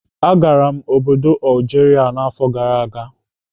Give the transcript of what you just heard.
Agara m obodo Algeria n'afọ gara aga.